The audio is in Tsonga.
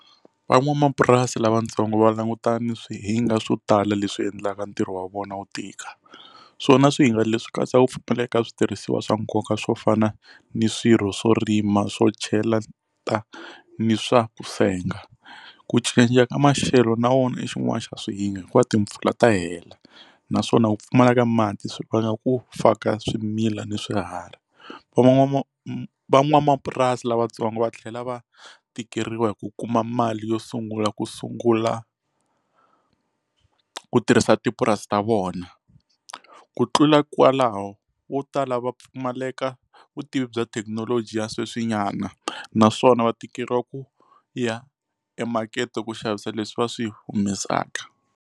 Van'wamapurasi lavatsongo va langutane swihinga swo tala leswi endlaka ntirho wa vona wu tika swona swihinga leswi katsaka ku pfumaleka switirhisiwa swa nkoka swo fana ni swirho swo rima swo chelata ni swa ku senga ku cinca ka maxelo na wona xin'wana xa swihinga hikuva timpfula ta hela naswona ku pfumala ka mati swi vanga ku faka swimila ni swiharhi van'wamapurasi van'wamapurasi lavatsongo va tlhela va tikeriwa hi ku kuma mali yo sungula ku sungula ku tirhisa tipurasi ta vona ku tlula kwalaho wo tala va pfumaleka vutivi bya thekinoloji ya sweswinyana naswona va tikeriwa ku ya e makete ku xavisa leswi va swi humesaka.